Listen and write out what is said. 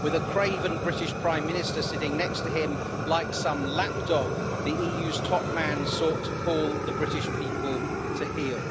With a craven British Prime Minister sitting next to him like some lapdog, the EU's top man sought to call the British people to heel.